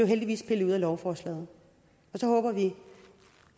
heldigvis pillet ud af lovforslaget så håber vi